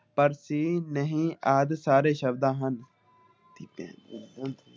ਪਰ ਚੀਜ ਨਹੀਂ ਆਦਿ ਸਾਰੇ ਸ਼ਬਦ ਹਨ ।